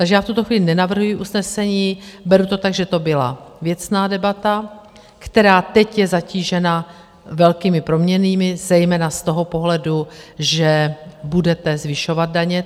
Takže já v tuto chvíli nenavrhuji usnesení, beru to tak, že to byla věcná debata, která teď je zatížena velkými proměnnými, zejména z toho pohledu, že budete zvyšovat daně.